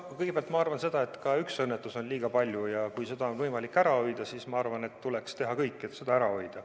Kõigepealt, ma arvan, et ka üks õnnetus on liiga palju, ja kui seda on võimalik ära hoida, siis ma arvan, et tuleks teha kõik, et seda ära hoida.